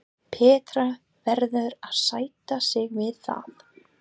Petra verður að sætta sig við það.